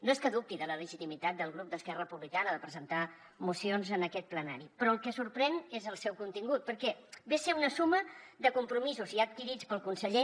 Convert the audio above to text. no és que dubti de la legitimitat del grup d’esquerra republicana de presentar mocions en aquest plenari però el que sorprèn és el seu contingut perquè ve a ser una suma de compromisos ja adquirits pel conseller